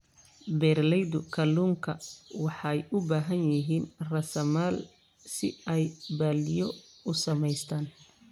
Beeralayda kalluunka waxay u baahan yihiin raasamaal si ay balliyo u samaystaan.